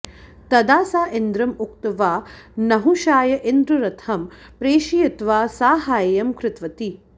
तदा सा इन्द्रम् उक्त्वा नहुषाय इन्द्ररथं प्रेषयित्वा साहाय्यं कृतवती